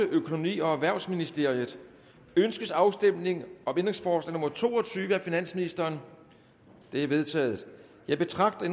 økonomi og erhvervsministeriet ønskes afstemning om ændringsforslag nummer to og tyve af finansministeren det er vedtaget jeg betragter